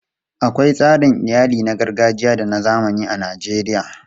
Akwai tsarin iyali na gargajiya da na zamani a Najeriya.